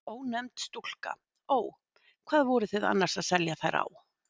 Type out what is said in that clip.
Ónefnd stúlka: Ó. Hvað voru þið annars að selja þær á?